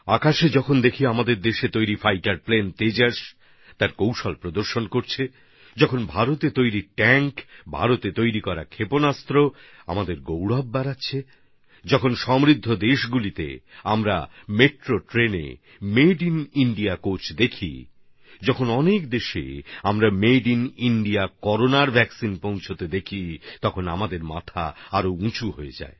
আমরা যখন আমাদের দেশের তৈরি ফাইটার প্লেন তেজসকে আকাশে দক্ষতা প্রদর্শন করতে দেখি যখন ভারতে তৈরি ট্যাঙ্ক ভারতে তৈরি মিসাইল আমাদের গৌরব বৃদ্ধি করে যখন সমৃদ্ধ দেশগুলোতে আমরা মেট্রো রেলপথে মেড ইন ইন্ডিয়া কোচ দেখতে পাই যখন ডজনখানেক দেশে made in India corona vaccine পৌঁছাতে দেখি তখন আমাদের মাথা আরও উঁচু হয়ে যায়